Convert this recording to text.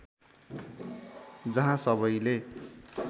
जहाँ सबैले